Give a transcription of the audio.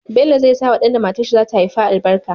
Bello zai sawa dan da matar shi zata haifa albarka